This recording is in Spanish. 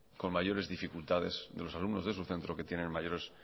con mayores dificultades de los alumnos de su centro que tienen mayores